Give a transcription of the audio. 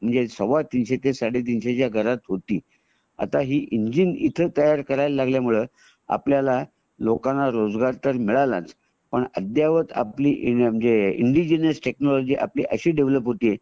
सव्वा तीनशे ते साडे तीनशे च्या घरात होती . आता ही इंजिन इथे तयार करायला लागल्यामुळे आपल्या लोकाना रोजगार तर मिळालाच पण अद्ययावत म्हणजे इंडिजिनस टेक्नॉलजी आपली अशी डेवलप होते